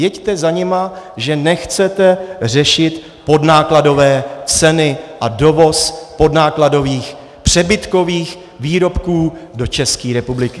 Jeďte za nimi, že nechcete řešit podnákladové ceny a dovoz podnákladových přebytkových výrobků do České republiky.